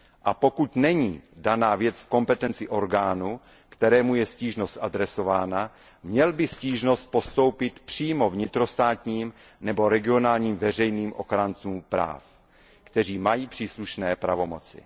A pokud není daná věc v kompetenci orgánu, kterému je stížnost adresována, měl by stížnost postoupit přímo vnitrostátním nebo regionálním veřejným ochráncům práv, kteří mají příslušné pravomoci.